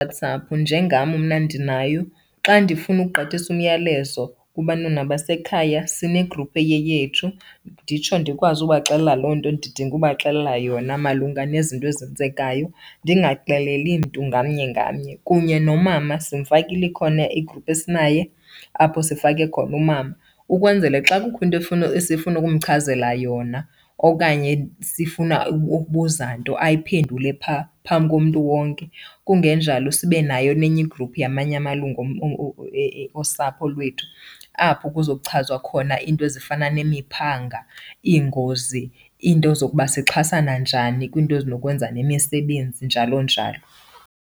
WhatsApp, njengam mna ndinayo. Xa ndifuna ukugqithisa umyalezo kubantwana basekhaya sinegruphu eyeyethu, nditsho ndikwazi ubaxelela loo nto ndidinga ubaxelela yona malunga nezinto ezenzekayo ndingaxeleli mntu ngamnye ngamnye. Kunye nomama simfakile, ikhona igruphu esinaye apho sifake khona umama ukwenzele xa kukho into esifuna ukumchazela yona okanye sifuna ukubuza nto ayiphendule phaa phambi komntu wonke. Kungenjalo sibe nayo nenye igruphu yamanye amalungu osapho lwethu apho kuzochazwa khona iinto ezifana nemiphanga, iingozi, iinto zokuba sixhasana njani kwinto ezinokwenza nemisebenzi, njalo njalo.